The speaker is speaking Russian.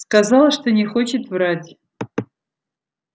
сказала что не хочет врать